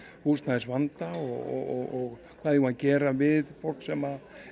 húsnæðisvanda og hvað eigum við að gera við fólk sem